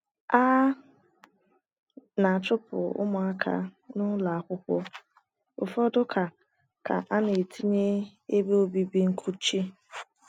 A na - achụpụ ụmụaka n’ụlọ akwụkwọ, ụfọdụ ka ka ana etinye ebe obibi nkuchi.